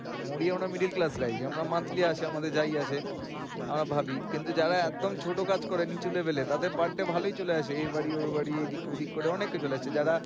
ধরি আমরা middle class family আমাদের monthly আসে যাই আসে আ কিন্তু ছোটো কাজ করে একদম নিচু level এর তাদের per day ভালোই চলে আসে এই বাড়ি ঐ বাড়ি এদিক ওদিক করে অনেক চলে আসে যারা